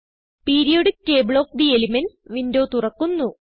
periodic table of the elements window തുറക്കുന്നു